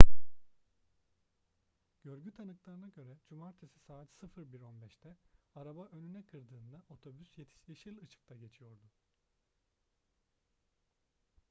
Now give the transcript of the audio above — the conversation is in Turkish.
görgü tanıklarına göre cumartesi saat 01:15'te araba önüne kırdığında otobüs yeşil ışıkta geçiyordu